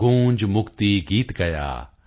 ਗੂੰਜ ਮੁਕਤੀ ਗੀਤ ਗਯਾ